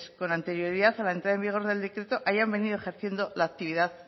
quienes con anterioridad a la entrada en vigor del decreto hayan venido ejerciendo la actividad